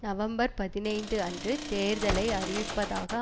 November பதினைந்து அன்று தேர்தலை அறிவிப்பதாக